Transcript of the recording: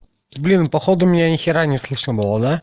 блин походу меня ни хера не слышно было да